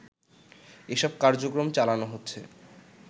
এসব কার্যক্রম চালানো হচ্ছে